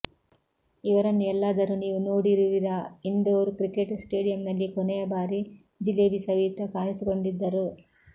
ಇವರನ್ನು ಎಲ್ಲಾದರೂ ನೀವು ನೋಡಿರುವಿರಾ ಇಂದೋರ್ ಕ್ರಿಕೆಟ್ ಸ್ಟೇಡಿಯಂನಲ್ಲಿ ಕೊನೆಯ ಬಾರಿ ಜಿಲೇಬಿ ಸವಿಯುತ್ತಾ ಕಾಣಿಸಿಕೊಂಡಿದ್ದರು